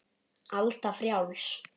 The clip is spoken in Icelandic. Alda frjáls.